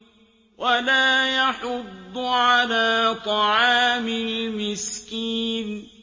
وَلَا يَحُضُّ عَلَىٰ طَعَامِ الْمِسْكِينِ